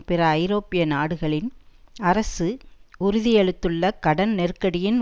பிற ஐரோப்பிய நாடுகளின் அரசு உறுதியளித்துள்ள கடன் நெருக்கடியின்